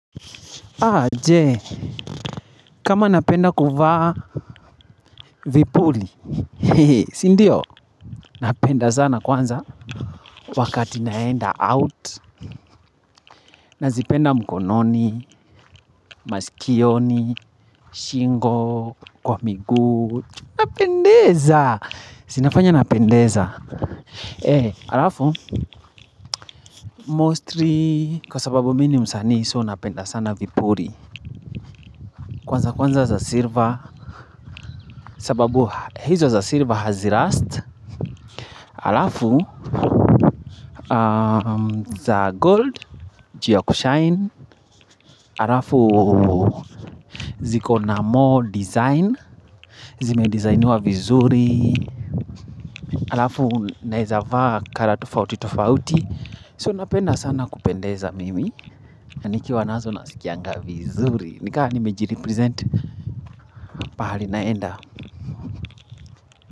Aje, kama napenda kuvaa vipuli, sindio napenda sana kwanza wakati naenda out nazipenda mkononi, masikioni, shingo, kwa miguu, napendeza, sinafanya napendeza E, alafu, mostri, kwa sababu mini msani so napenda sana vipuli Kwanza kwanza za sirva, sababu hizo za sirva hazi rust alafu za gold ju ya kushine alafu zikona more design zimedizainiwa vizuri alafu naezava kara tufauti tufauti so napenda sana kupendeza mimi nikiwa nazo nasikianga vizuri nikaha nimejiripresent pahali naenda.